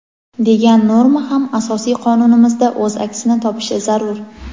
degan norma ham Asosiy qonunimizda o‘z aksini topishi zarur.